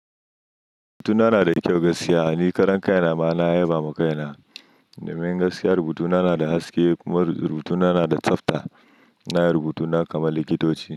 Rubutuna nada kyau gaskiya. Ni karan kai na ma na yaba ma kai na. Domin gaskiya rubutuna na da haske kuma rubutuna na da tsafta. Ina yin rubutuna kamar likitoci.